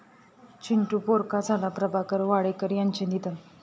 चिंटू पोरका झाला..प्रभाकर वाडेकर यांचं निधन